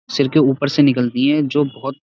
सिर के ऊपर से निकलती हैं जो बहोत --